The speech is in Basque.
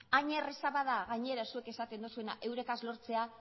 hain erraza bada gainera zuek esaten duzuena euregaz lortzea